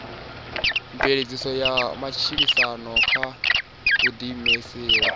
mveledziso ya matshilisano kha vhuḓiimiseli